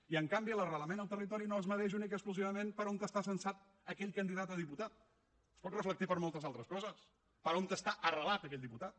i en canvi l’arrelament al territori no es mesura únicament i exclusivament per on està censat aquell candidat a diputat es pot reflectir per moltes altres coses per on està arrelat aquell diputat